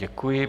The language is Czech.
Děkuji.